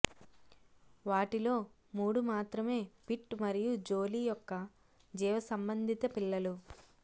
వాటిలో మూడు మాత్రమే పిట్ మరియు జోలీ యొక్క జీవసంబంధిత పిల్లలు